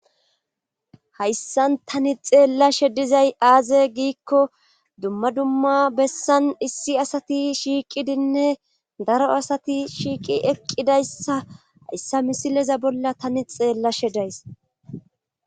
hayssan tani xeellashe dizay aaze giikko dumma dumma bessan issi asati shiiqidinne daro asati shiiqi eqqidayssa hayssa misileza bolla tani xeella she days